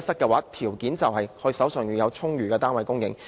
先決條件就是充裕的單位供應。